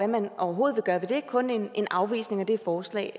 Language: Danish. man overhovedet vil gøre ved det kun en afvisning af det forslag